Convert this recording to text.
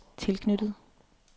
tilknyttet